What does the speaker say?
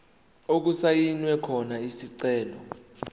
okusayinwe khona isicelo